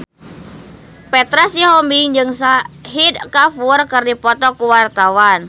Petra Sihombing jeung Shahid Kapoor keur dipoto ku wartawan